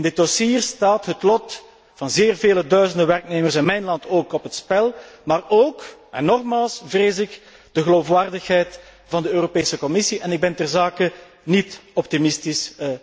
In dit dossier staat het lot van zeer vele duizenden werknemers in mijn land op het spel, maar ook, en opnieuw, vrees ik, de geloofwaardigheid van de Europese Commissie, en ik ben terzake niet optimistisch.